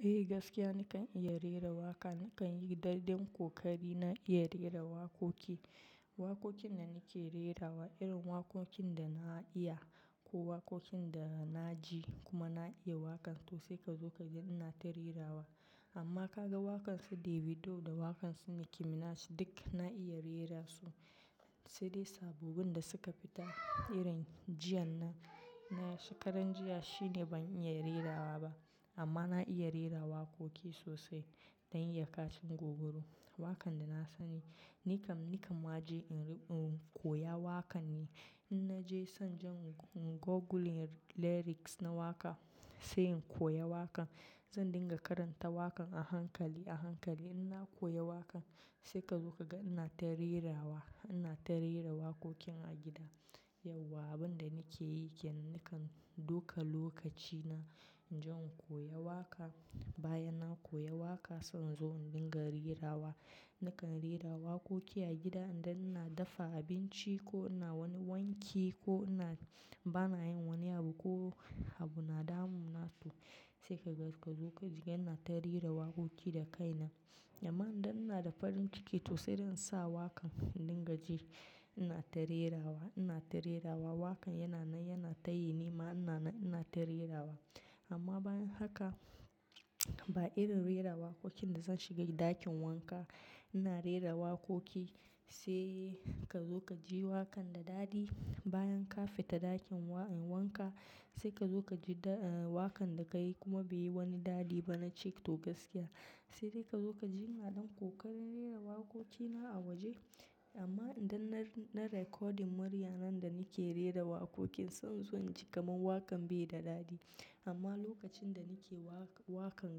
Eh gaskiya nikan iya rera waƙa, nikan yi dai ɗan ƙokari na iya rera waƙoƙi. Waƙoƙin da nake rerawa irin waƙoƙin da na iya ko waƙoƙin da na ji kuma na iya waƙan to sai ka zo ka ji ina ta rerawa. Amma ka ga waƙan su Davido da waƙan su Nicki Minaj duk na iya rera su. Sai dai sabobin da suka fita irin jiya na, na shekaran jiya shine ban iya rerawa ba. Amma na iya rera waƙoƙi sosai don iya kacin gwargwado. Waƙan da na sani, nikan, nikan ma ji in koya waƙan ne. In na je zan jan googling lyrics na waƙa, sai in koya waƙa. Zan dinga karanta waƙan a hankali, a hankali in na koya waƙan sai ka zo ka ga ina ta rerawa, ina ta rera waƙoƙin a gida. Yauwa abin da nake yi kenan nikan dauka lokaci na jan koya waƙa. Bayan na koya waƙa, sai in zo in dinga rerawa. Nikan rera waƙoƙi a gida idan ina dafa abinci ko ina wani wanki ko ina, bana yin wani abu ko abu na damu na to. Sai ka ga ka zo ka ji ina ta rera waƙoƙi da kaina. Amma idan ina da farin ciki sosai zan sa waƙan, in dinga ji ina ta rerawa, ina ta rerawa waƙan yana nan yana ta yi ni ma ina, ina ta rerawa. Amma bayan haka, ba irin rera waƙoƙin da zan shiga ɗakin wanka ina rera waƙoƙi sai ka zo ka ji waƙan da daɗi. Bayan ka fita ɗakin wanka sai ka zo ka ji waƙan da ka yi kuma bai yi wani daɗi ba na ce to gaskiya. Sai dai ka zo ka ji ina don koƙarin rera waƙoƙina a waje. Amma idan na recording murya nan da nake rera waƙoƙin sai in zo inji kaman waƙan bai da daɗi. Amma lokacin da nake waƙa, waƙan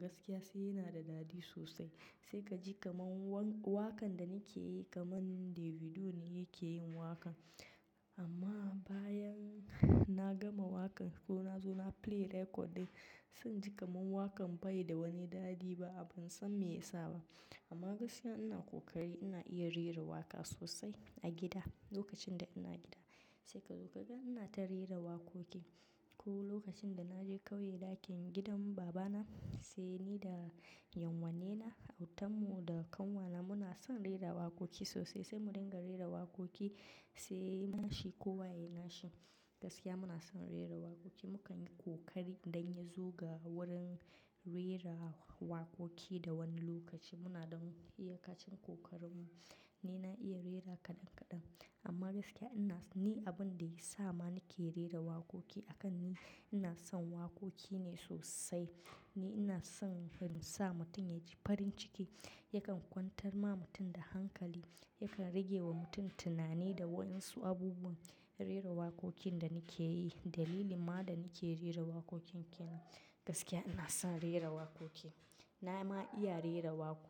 gaskiya sai yana da daɗisosai. Sai ka ji kaman waƙan da nake yi kaman Davido ne yake yin waƙan. Amma bayan na gama waƙan ko na zo na play record ɗin zan ji kaman waƙan bai da wani daɗi ba. Ban san me yasa ba. Amma gaskiya ina koƙari ina iya rera waƙa sosai a gida, lokacin da ina gida. Sai ka zo ka ga ina ta rera waƙoƙi. Ko lokacin da na je ƙauye ɗakin gidan baba na sai ni da 'yanuwanne na, autan mu da kanwa na muna son rera waƙoƙi sosai sai mu dinga rera waƙoƙi sai nashi ko waye nashi. Gaskiya muna son rera waƙoƙi, mu kan yi koƙari dan ya zo ga wurin rera waƙoƙi da wani lokaci muna don iya kacin kokarin mu. Ni na iya rera kaɗan kaɗan amma gaskiya ina, ni abin da ya sa ma nake rera waƙoƙi a kan ni, ina son waƙoƙi ne sosai. Ni ina son sa mutum ya ji farin ciki, yakan kwantar ma mutum da hankali, yakan rage wa mutum tunani da waɗansu abubuwa. Rera waƙoƙin da nake yi dalili ma da nake rera waƙoƙi kenan gaskiya ina son rera waƙoƙi. Na ma iya rera waƙoƙi.